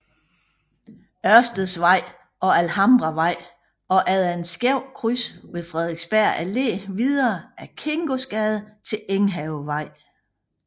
Ørsteds Vej og Alhambravej og efter et skævt kryds ved Frederiksberg Allé videre ad Kingosgade til Enghavevej